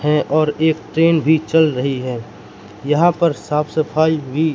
है और एक ट्रेन भी चल रही है। यहां पर साफ सफाई भी--